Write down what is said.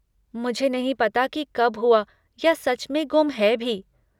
मुझे नहीं पता कि कब हुआ या सच में गुम है भी।